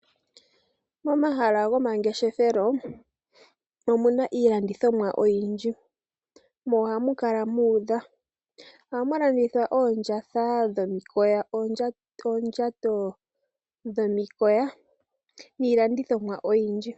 Momahala gomangeshefelo omuna iilandithomwa oyindji, mo ohamu kala muudha. Ohamu landithwa oondjatha dhomikoya, oondjato dhomikoya niilandithomwa oyindji.